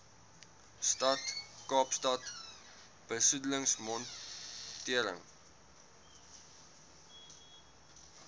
stad kaapstad besoedelingsmonitering